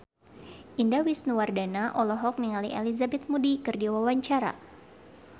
Indah Wisnuwardana olohok ningali Elizabeth Moody keur diwawancara